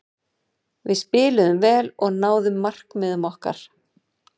Við spiluðum vel og náðum markmiðum okkar.